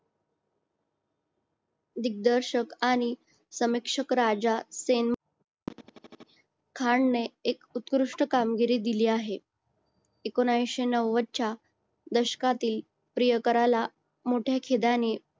दिग्दर्शक आणि समीक्षक राजा खान ने एक उत्कृष्ट कामगिरी दिली आहे एकोणीशे नव्वदच्या च्या दशकातील प्रियकराला मोठ्या खिदायानी